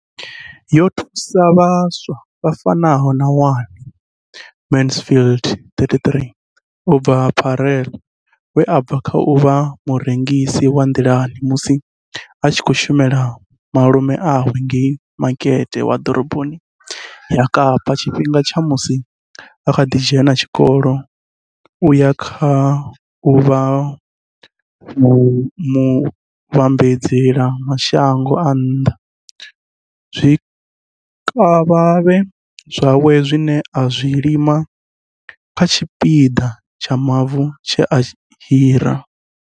Yo thusa vhaswa vha fanaho na Wayne Mansfield 33 u bva Paarl, we a bva kha u vha murengisi wa nḓilani musi a tshi khou shumela malume awe ngei makete wa ḓoroboni ya Kapa tshifhingani tsha musi a kha ḓi dzhena tshikolo u ya kha u vha muvhambadzela mashango a nnḓa zwikavhavhe zwawe zwine a zwi lima kha tshipiḓa tsha mavu tshe a hira.